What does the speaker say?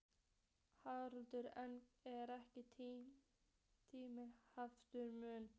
Haukur: En er ekki tíminn afar naumur?